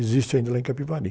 Existe ainda lá em Capivari.